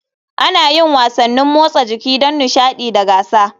Ana yin wasannin motsa jiki don nishaɗi da gasa.